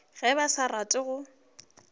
ge ba sa rate go